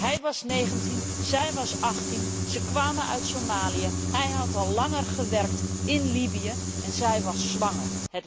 Hij was 19, zij was 18, ze kwamen uit Somalië, hij had al langer gewerkt in Libië en zij was zwanger.